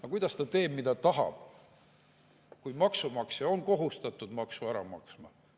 Aga kuidas ta teeb, mida tahab, kui maksumaksja on kohustatud maksu ära maksma?